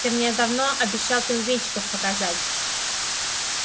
ты мне давно обещал пингвинчиков показать